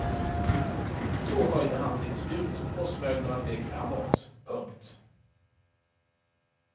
Så höjde han sitt spjut och smög några steg framåt. punkt